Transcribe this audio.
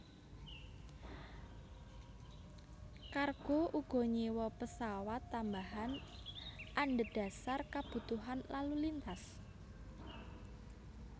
Cargo uga nyewa pesawat tambahan andhedasar kebutuhan lalu lintas